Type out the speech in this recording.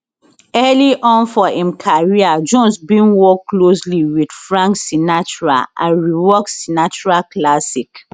early on for im career jones bin work closely wit frank sinatra and rework sinatra classic